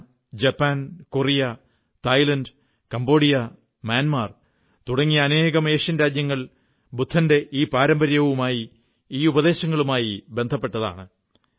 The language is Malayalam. China Japan Korea Thailand Cambodia Myanmar തുടങ്ങിയ അനേകം ഏഷ്യൻ രാജ്യങ്ങൾ ബുദ്ധന്റെ ഈ പരമ്പര്യവുമായി ഈ ഉപദേശങ്ങളുമായി ബന്ധപ്പെട്ടവയാണ്